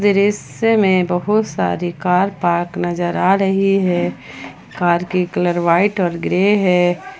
दृश्य में बहुत सारी कार पार्क नजर आ रही है कर के कलर व्हाइट और ग्रे है।